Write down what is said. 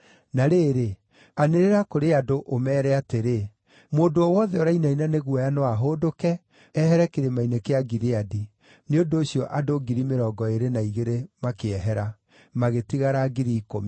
Na rĩrĩ, anĩrĩra kũrĩ andũ, ũmeere atĩrĩ, ‘Mũndũ o wothe ũrainaina nĩ guoya no ahũndũke, ehere Kĩrĩma-inĩ kĩa Gileadi.’ ” Nĩ ũndũ ũcio andũ 22,000 na igĩrĩ makĩehera, magĩtigara 10,000.